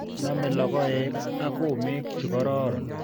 Nomei lokoek ak komek chikororon.